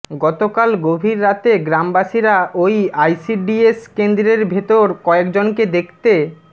গতকাল গভীর রাতে গ্রামবাসীরা ওই আইসিডিএস কেন্দ্রের ভেতর কয়েকজনকে দেখতে